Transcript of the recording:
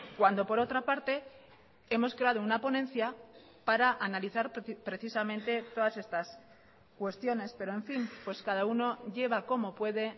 cuando por otra parte hemos creado una ponencia para analizar precisamente todas estas cuestiones pero en fin pues cada uno lleva como puede